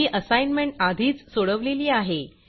ही assignment आधीच सोडवलेली आहे